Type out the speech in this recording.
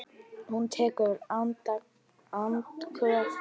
Hún tekur andköf.